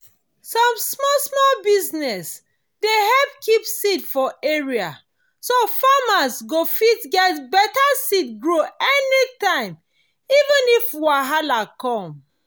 some small small business dey help keep seed for area so farmers go fit get beta seed grow anytime even if wahala come.